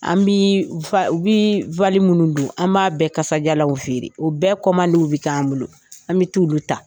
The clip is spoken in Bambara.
An bi u bɛ minnu don an b'a bɛɛ kasajalanw feere o bɛɛ bɛ k'an bolo an bi t'ulu ta.